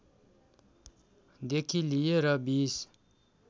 देखि लिएर २०